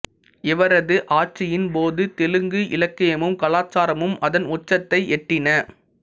இவரது ஆட்சியின் போது தெலுங்கு இலக்கியமும் கலாச்சாரமும் அதன் உச்சத்தை எட்டின